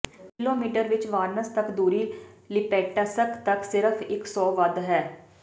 kilometre ਵਿਚ Voronezh ਤੱਕ ਦੂਰੀ ਲਿਪੇਟਸ੍ਕ ਤੱਕ ਸਿਰਫ ਇੱਕ ਸੌ ਵੱਧ ਹੈ